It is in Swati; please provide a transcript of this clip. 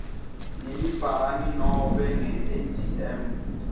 ngelibhangi nobe ngeatm